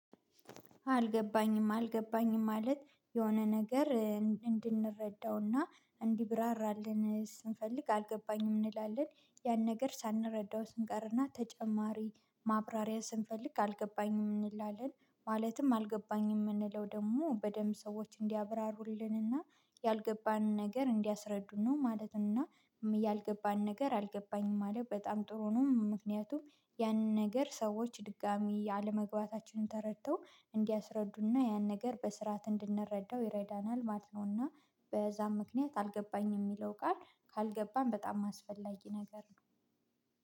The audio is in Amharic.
አልገባኝም አልገባኝም ማለት የሆነ ነገር እንድንረዳውና እንዲብራራልን ስንፈልግ አልገባኝም እንላለን ያን ነገር ሳንረዳው ስንገርና ተጨማሪ ማብራሪያ ስንፈልግ አልገባኝም እንላለን ማለትም አልገባኝም የምንለው ደግሞ በደንብ ሰዎች እንዲያብራሩልንና ያልገባንን ነገር እንዲያስረዱን ነው ማለትና ያልገባን ነገር አልገባኝም አለ በጣም ጥሩ ነው ምክንያቱም ያንን ነገር ሰዎች ድጋሚ አለመግባታችንን ተረድተው እንዲያስረዱና ያን ነገር በስርዓት እንድንረዳው ይረዳናል ማለት ነውና በዛም ምክንያት አልገባኝም የሚለው ቃል ካልገባን በጣም አስፈላጊ ነገር ነው።